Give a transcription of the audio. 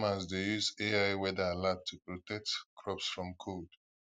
farmers dey use ai weather alert to protect crops from cold